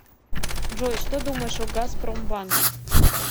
джой что думаешь о газпромбанк